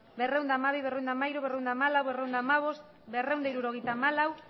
berrehun eta hamabi berrehun eta hamairu berrehun eta hamalau berrehun eta hamabost berrehun eta hirurogeita hamalau